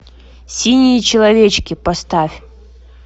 синие человечки поставь